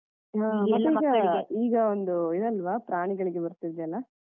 ಹ ಪ್ರಾಣಿಗಳಿಗೆ ಬರ್ತಿದೆ ಅಲಾ.